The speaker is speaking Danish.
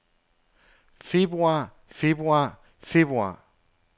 februar februar februar